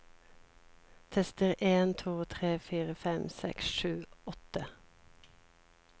Tester en to tre fire fem seks sju åtte